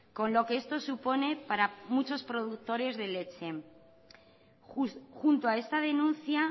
con lo que esto supone para muchos productores de leche junto a esta denuncia